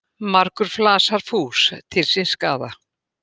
Margur flasar fús til síns skaða.